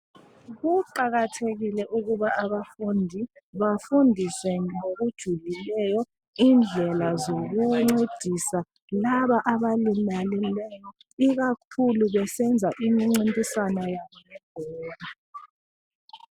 Kuqakathekile ukuba abafundi bafundiswe ngokujulileyo indlela zokuncedisa labo abalimalileyo ikakhulu besenza imincintiswano yabo yebhola